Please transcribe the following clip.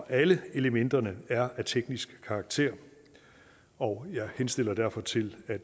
alle elementerne er af teknisk karakter og jeg henstiller derfor til at